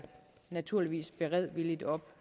naturligvis beredvilligt op